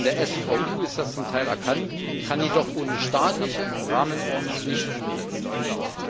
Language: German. In der SVU ist das zum Teil erkannt, kann jedoch ohne staatliche Rahmenordnung nicht umgesetzt werden.